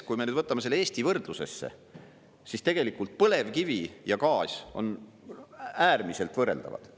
Kui me nüüd võtame selle Eesti võrdlusesse, siis tegelikult põlevkivi ja gaas on äärmiselt võrreldavad.